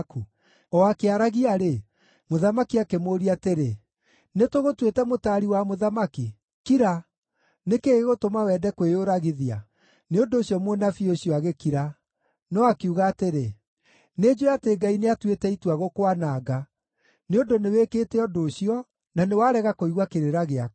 O akĩaragia-rĩ, mũthamaki akĩmũũria atĩrĩ, “Nĩtũgũtuĩte mũtaari wa mũthamaki? Kira! Nĩ kĩĩ gĩgũtũma wende kwĩyũragithia?” Nĩ ũndũ ũcio mũnabii ũcio agĩkira, no akiuga atĩrĩ, “Nĩnjũũĩ atĩ Ngai nĩatuĩte itua gũkwananga, nĩ ũndũ nĩwĩkĩte ũndũ ũcio, na nĩwarega kũigua kĩrĩra gĩakwa.”